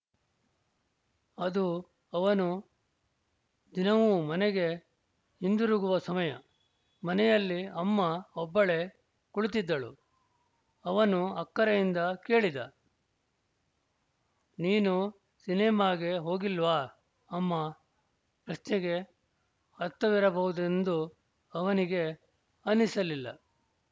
ಅದು ಅವನು ದಿನವೂ ಮನೆಗೆ ಹಿಂದಿರುಗುವ ಸಮಯ ಮನೆಯಲ್ಲಿ ಅಮ್ಮ ಒಬ್ಬಳೇ ಕುಳಿತಿದ್ದಳು ಅವನು ಅಕ್ಕರೆಯಿಂದ ಕೇಳಿದ ನೀನು ಸಿನಿಮಾಗೆ ಹೋಗಿಲ್ವಾ ಅಮ್ಮಾ ಪ್ರಶ್ನೆಗೆ ಅರ್ಥವಿರಬಹುದೆಂದು ಅವನಿಗೇ ಅನ್ನಿಸಲಿಲ್ಲ